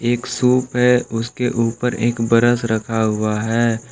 एक सूप है उसके ऊपर एक ब्रश रखा हुआ है।